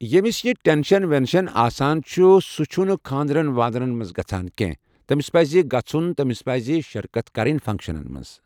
ییٚمِس یہِ ٹٮ۪نشٮ۪ن وٮ۪نشن آسان چُھ سُہ چھُ نہٕ خانٛدرَن وانٛدرَن منٛز گَژَھان کیٚنٛہہ تٔمِس پَزِ گَژھُن تٔمِس پَزۍ شِرکت کَرٕنۍ فَنٛکشَنَن منٛز